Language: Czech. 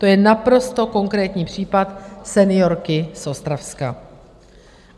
To je naprosto konkrétní případ seniorky z Ostravska.